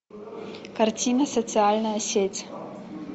картина социальная сеть